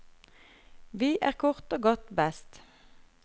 Vi er kort og godt best.